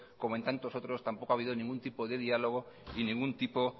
como en tantos otros tampoco ha habido ningún tipo de diálogo ni ningún tipo